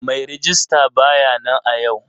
Mai rejista ba ya nan a yau.